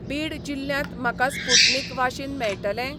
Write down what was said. बीड जिल्ल्यांत म्हाका Sputnik vaccine मेळटलें?